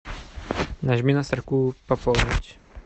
нажми на строку пополнить